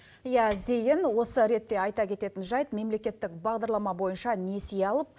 иә зейін осы ретте айта кететін жайт мемлекеттік бағдарлама бойынша несие алып